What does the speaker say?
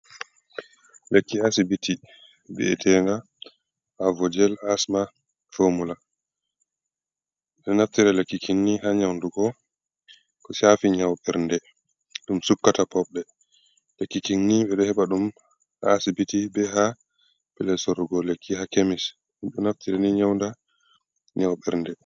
Lekki asibiti bi’etenga avojel asma fomula, be ɗo naftira be lekkini ha nyaundugo, ko safi nyau bernde, ɗum ɗo sukata pobɗe lekkikinni ɓe ɗo he ɓa ɗum ha asibiti be ha pellel sorrugo lekki, ha kemis, ɗo naftira ni nyauda nyaw ɓernde.